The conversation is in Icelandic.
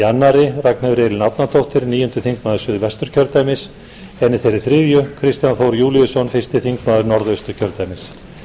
annarri ragnheiður elín árnadóttir níundi þingmaður suðvesturkjördæmis en í þeirri þriðju kristján þór júlíusson fyrsti þingmaður norðausturkjördæmis